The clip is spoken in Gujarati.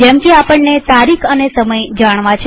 જેમકે આપણને તારીખ અને સમય જાણવો છે